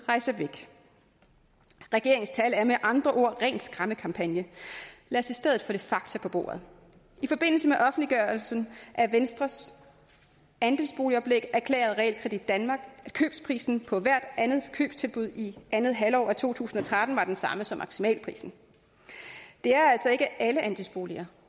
rejse væk regeringens tal er med andre ord ren skræmmekampagne lad os i stedet få lidt fakta på bordet i forbindelse med offentliggørelsen af venstres andelsboligoplæg erklærede realkredit danmark at købsprisen på hver andet købstilbud i andet halvår af to tusind og tretten var den samme som maksimalprisen det er altså ikke alle andelsboliger